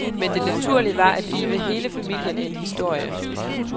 Men det naturlige var at give hele familien en historie.